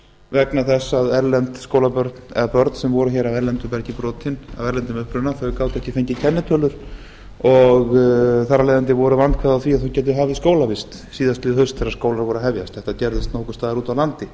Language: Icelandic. vegna þess að erlend skólabörn eða börn sem voru af erlendum uppruna gátu ekki fengið kennitölu og þar af leiðandi voru vandkvæði á því að þau gætu hafið skólavist síðastliðið haust þegar skólar voru að hefjast þetta gerðist nokkurs staðar úti á landi